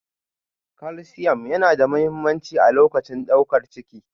Kalsiamu yana da mahimmanci a lokacin daukar ciki